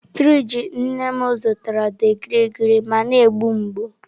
sirinji nne m zụtara dị gịrịgịrị ma na-egbu mgbu.